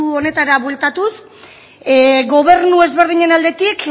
honetara bueltatuz gobernu ezberdinen aldetik